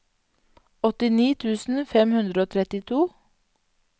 åttini tusen fem hundre og trettito